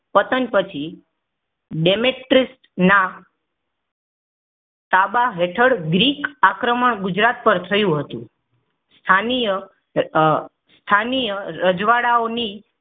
પતન પછી ડેમેસ્ત્રના તબા હેઠળ ગ્રીક આક્રમણ ગુજરાત પર થયું હતું. સ્થાનિય અ સ્થાનિય રજવાડાઓની